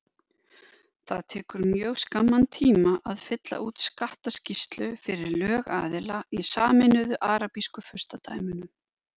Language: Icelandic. Það tekur mjög skamman tíma að fylla út skattaskýrslu fyrir lögaðila í Sameinuðu arabísku furstadæmunum.